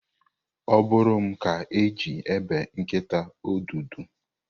Ọ bụrụ m ka e ji ebe nkịta ọdụdụ.